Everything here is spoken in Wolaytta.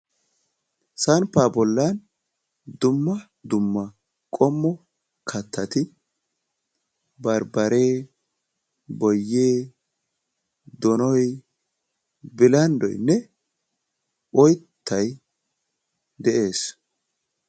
Samppa bolla dumma dumma qommo kattati barbbare, boyye, donoy, bilanddoynne oyttay de'ees.